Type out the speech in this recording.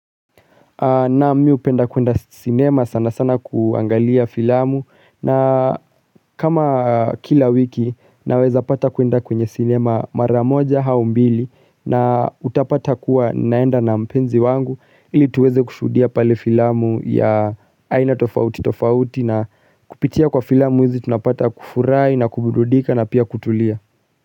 Naam hupenda kuenda cinema sana sana kuangalia filamu na kama kila wiki naweza pata kuenda kwenye sinema mara moja au mbili na utapata kuwa naenda na mpenzi wangu ili tuweze kushuhudia pale filamu ya aina tofauti tofauti na kupitia kwa filamu hizi tunapata kufurahi na kuburudika na pia kutulia.